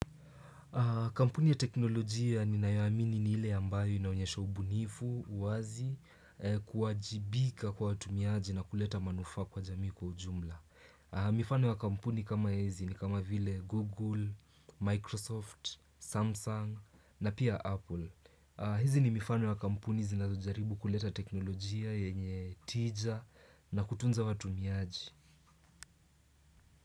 Kampuni ya teknolojia ninayoamini ni ile ambayo inaonyesha ubunifu, uwazi, kuwajibika kwa watumiaji na kuleta manufaa kwa jamii kwa ujumla. Mifano ya kampuni kama hizi ni kama vile Google, Microsoft, Samsung na pia Apple. Hizi ni mifano ya kampuni zinazojaribu kuleta teknolojia yenye tija na kutunza watumiaji.